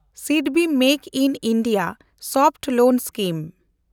SIDBI make in India soft loan scheme